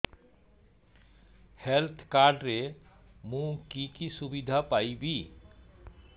health card ରେ ମୁଁ କି କି ସୁବିଧା ପାଇବି